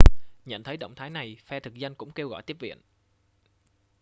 nhận thấy động thái này phe thực dân cũng kêu gọi tiếp viện